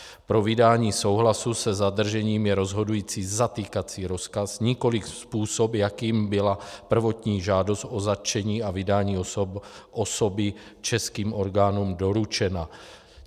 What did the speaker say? Pro vydání souhlasu se zadržením je rozhodující zatýkací rozkaz, nikoliv způsob, jakým byla prvotní žádost o zatčení a vydání osoby českým orgánům doručena.